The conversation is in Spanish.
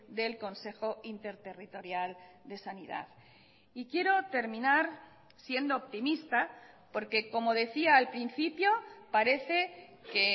del consejo interterritorial de sanidad y quiero terminar siendo optimista porque como decía al principio parece que